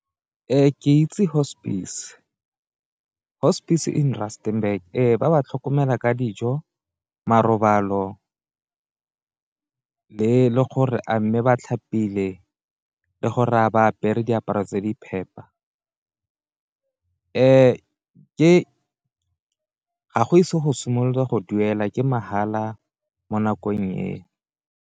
Ke itse hospice, hospice in Rusternburg. Ee, ba ba tlhokomela ka dijo, marobalo le gore a mme batlhapile le gore a ba apere diaparo tse di phepa, ga go ise go simolola go duela ke mahala mo nakong eno.